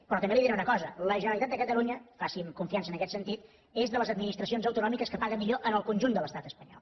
però també li diré una cosa la generalitat de catalunya faci’m confiança en aquest sentit és de les administracions autonòmiques que paga millor en el conjunt de l’estat espanyol